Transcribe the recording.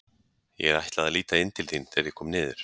Ég ætlaði að líta inn til þín þegar ég kom niður.